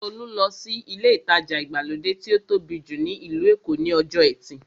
Tolú lọ sí ilé ìtajà ìgbàlódé tí ó tóbi jù ní ìlú Èkó ní ọjọ́ ẹtì